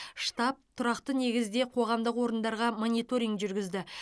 штаб тұрақты негізде қоғамдық орындарға мониторинг жүргізді